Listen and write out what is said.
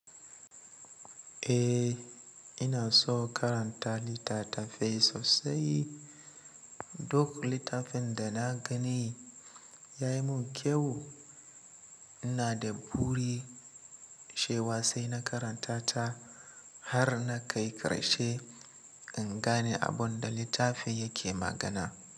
Eh ina so karanta littatafai sosai. Duk littafin da na gani ya yi mun kyau. Ina da buri sha wa sai na karanta ta har na kai karshe in gane abun da littafin yake magana.